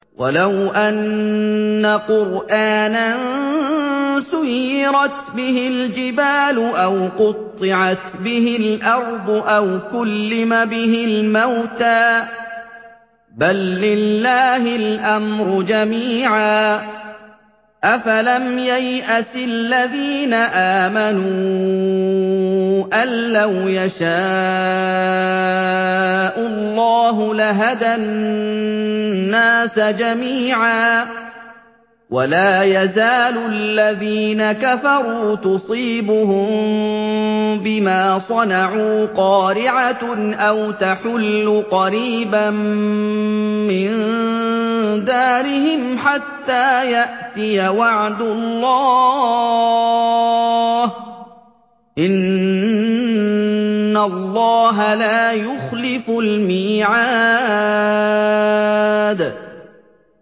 وَلَوْ أَنَّ قُرْآنًا سُيِّرَتْ بِهِ الْجِبَالُ أَوْ قُطِّعَتْ بِهِ الْأَرْضُ أَوْ كُلِّمَ بِهِ الْمَوْتَىٰ ۗ بَل لِّلَّهِ الْأَمْرُ جَمِيعًا ۗ أَفَلَمْ يَيْأَسِ الَّذِينَ آمَنُوا أَن لَّوْ يَشَاءُ اللَّهُ لَهَدَى النَّاسَ جَمِيعًا ۗ وَلَا يَزَالُ الَّذِينَ كَفَرُوا تُصِيبُهُم بِمَا صَنَعُوا قَارِعَةٌ أَوْ تَحُلُّ قَرِيبًا مِّن دَارِهِمْ حَتَّىٰ يَأْتِيَ وَعْدُ اللَّهِ ۚ إِنَّ اللَّهَ لَا يُخْلِفُ الْمِيعَادَ